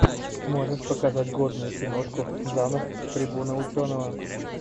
можешь показать годную киношку жанр трибуна ученого